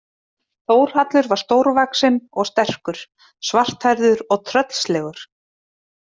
Þórhallur var stórvaxinn og sterkur, svarthærður og tröllslegur.